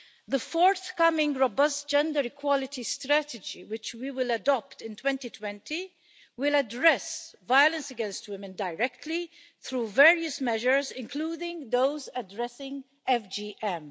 The forthcoming robust gender equality strategy, which we will adopt in 2020, will address violence against women directly through various measures, including those addressing FGM.